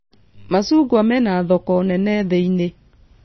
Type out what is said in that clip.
Macungwa mena thoko nene thĩĩ-inĩ